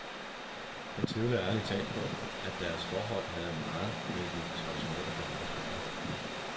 Jeg tvivler ærlig talt på, at deres forhold havde meget med de traditionelle behov at gøre.